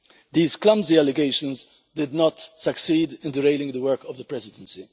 These clumsy allegations did not succeed in derailing the work of the Presidency.